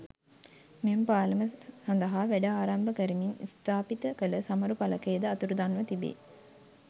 මෙම පාලම සඳහා වැඩ ආරම්භ කරමින් ස්ථාපිත කළ සමරු ඵලකය ද අතුරුන්ව තිබේ.